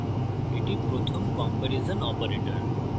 এটি প্রথম comparison operator